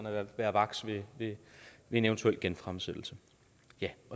at være vakse ved en eventuel genfremsættelse